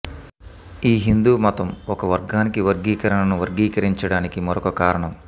ఈ హిందూ మతం ఒక వర్గానికి వర్గీకరణను వర్గీకరించడానికి మరొక కారణం